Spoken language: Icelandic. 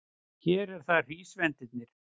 Hér eru það hrísvendirnir.